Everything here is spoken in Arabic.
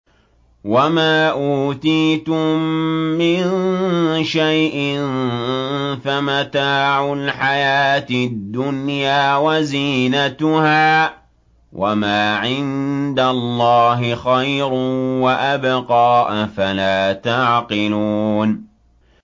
وَمَا أُوتِيتُم مِّن شَيْءٍ فَمَتَاعُ الْحَيَاةِ الدُّنْيَا وَزِينَتُهَا ۚ وَمَا عِندَ اللَّهِ خَيْرٌ وَأَبْقَىٰ ۚ أَفَلَا تَعْقِلُونَ